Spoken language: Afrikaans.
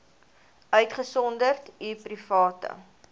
uitgesonderd u private